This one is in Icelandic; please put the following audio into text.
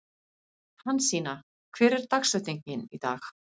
Hansína, hver er dagsetningin í dag?